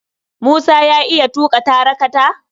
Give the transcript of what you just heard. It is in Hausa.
Musa ya iya tuƙa tarakata?